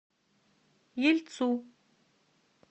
ельцу